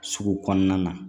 Sugu kɔnɔna na